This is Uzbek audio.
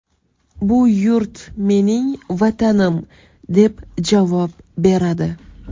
Bu yurt mening Vatanim”, deb javob beradi.